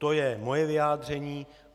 To je moje vyjádření.